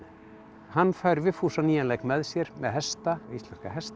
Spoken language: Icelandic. hann fær Vigfús á nýjan leik með sér með hesta íslenska hesta